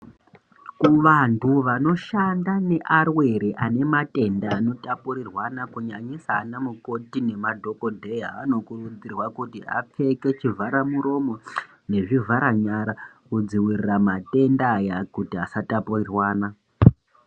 Kuvantu vanoshanda nevarwere vane matenda anotapurirwana kunyanyisa ana mukoti nemadhokotera vanokurudzirwa apfeke chivharamuromo nezivhara nyara kudzivirira matenda ayaa kuti asatapurirwana .